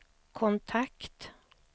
kontakt